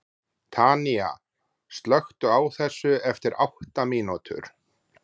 Tanía, slökktu á þessu eftir átta mínútur.